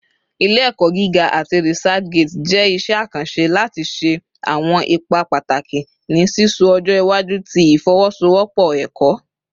Ile-ẹkọ giga ati ResearchGate jẹ iṣẹ akanṣe lati ṣe awọn ipa pataki ni sisọ ọjọ iwaju ti ifowosowopo ẹkọ.